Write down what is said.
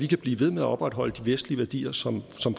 kan blive ved med at opretholde de vestlige værdier som